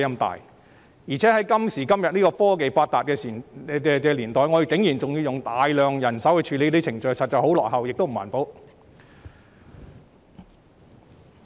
在現今科技發達的年代，我們還要用大量人手處理程序，這確實十分落後及不環保。